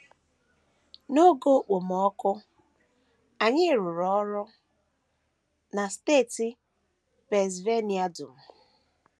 N’oge okpomọkụ, anyị rụrụ ọrụ na steeti Pennsylvania dum.